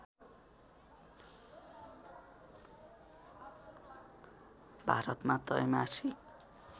भारतमा त्रैमासिक